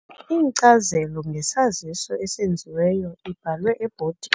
Inkcazelo ngesaziso esenziweyo ibhalwe ebhodini.